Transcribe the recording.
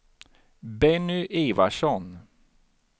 Benny Ivarsson